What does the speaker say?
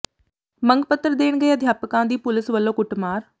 ਮੰਗ ਪੱਤਰ ਦੇਣ ਗਏ ਅਧਿਆਪਕਾਂ ਦੀ ਪੁਲੀਸ ਵੱਲੋਂ ਕੁੱਟਮਾਰ